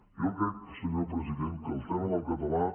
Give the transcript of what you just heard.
jo crec senyor president que el tema del català